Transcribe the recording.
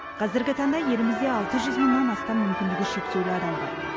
қазіргі таңда елімізде алты жүз мыңнан астам мүмкіндігі шектеулі адам бар